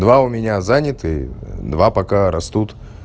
два у меня заняты два пока растут